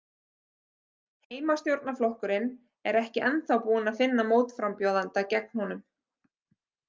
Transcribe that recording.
Heimastjórnarflokkurinn er ekki ennþá búinn að finna mótframbjóðanda gegn honum.